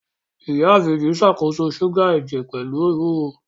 Ìyá Ìbejì ṣàkóso ṣúgà ẹ̀jẹ̀ pẹ̀lú ewúro